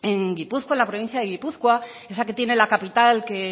en gipuzkoa en la provincia de gipuzkoa esa que tiene la capital que